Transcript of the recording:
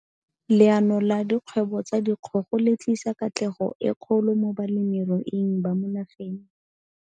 Leano la dikgwebo tsa dikgogo le tlisa katlego e kgolo mo balemiruing ba mo nageng.